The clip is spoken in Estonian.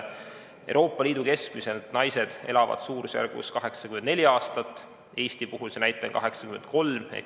Euroopa Liidus elavad naised keskmiselt 84 aastat, Eestis 83.